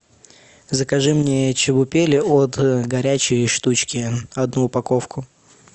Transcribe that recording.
закажи мне чебупели от горячей штучки одну упаковку